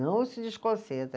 Não se desconcentra.